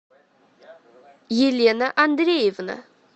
елена андреевна